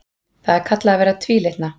Það er kallað að vera tvílitna.